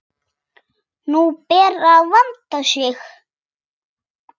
Nú ber að vanda sig!